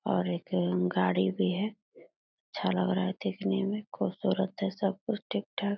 और एक अ गाड़ी भी है अच्छा लग रहा है देखने में खूबसुरत है सब कुछ ठीक ठाक --